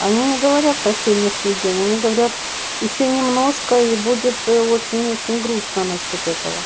они не говорят по сегодняшний день они говорят ещё немножко и будет очень-очень грустно насчёт этого